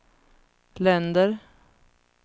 länder